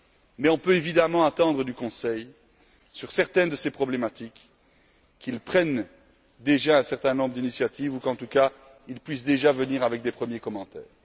Mais on peut évidemment attendre du Conseil, sur certaines de ces problématiques, qu'il prenne déjà un certain nombre d'initiatives ou qu'en tout cas, il puisse déjà formuler des commentaires.